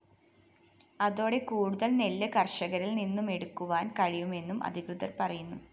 അതോടെ കൂടുതല്‍ നെല്ല് കര്‍ഷകരില്‍നിന്നുമെടുക്കുവാന്‍ കഴിയുമെന്നും അധികൃതര്‍ പറയുന്നു